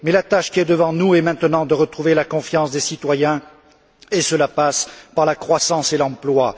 Mais la tâche qui est devant nous est maintenant de retrouver la confiance des citoyens, et cela passe par la croissance et l'emploi.